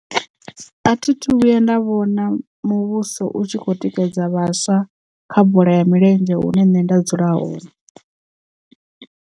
A thi thu vhuya nda vhona muvhuso u tshi kho tikedza vhaswa kha bola ya milenzhe hune nṋe nda dzula hone.